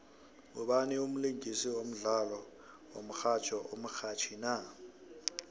ngubani umlingisi wodlalo womxhatjho omrhatjhi na